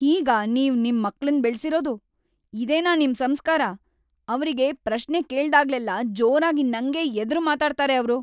ಹೀಗಾ ನೀವ್ ನಿಮ್ ಮಕ್ಳನ್ ಬೆಳ್ಸಿರೋದು? ಇದೇನಾ ನಿಮ್‌ ಸಂಸ್ಕಾರ?! ಅವ್ರಿಗೆ ಪ್ರಶ್ನೆ ಕೇಳ್ದಾಗ್ಲೆಲ್ಲಾ ಜೋರಾಗಿ ನಂಗೇ ಎದ್ರು ಮಾತಾಡ್ತಾರೆ ಅವ್ರು.